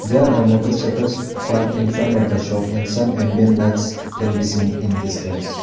There are motorcycles park in front of the shop and some ambient lights can be seen in distance.